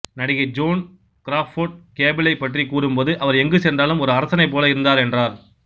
நடிகை Joan Crawford கேபிளை பற்றி கூறும்போது அவர் எங்கு சென்றாலும் ஒரு அரசனைப் போல இருந்தார் என்றார்